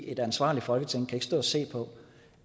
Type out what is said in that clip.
et ansvarligt folketing kan ikke stå og se på